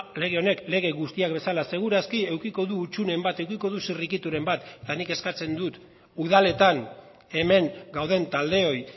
lege honek lege guztiak bezala segur aski edukiko du hutsuneren bat edukiko du zirrikituren bat eta nik eskatzen dut udaletan hemen gauden taldeoi